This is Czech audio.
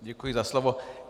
Děkuji za slovo.